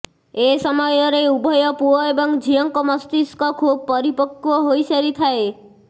ଏ ସମୟରେ ଉଭୟ ପୁଅ ଏବଂ ଝିଅଙ୍କ ମସ୍ତିଷ୍କ ଖୁବ୍ ପରିପକ୍ୱ ହୋଇ ସାରିଥାଏ